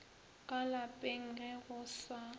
ka lapeng ge go sa